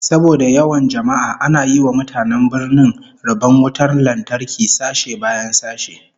Saboda yawan jama'a ana yi wa mutanen birnin rabon wutar lantarki sashe bayan sashe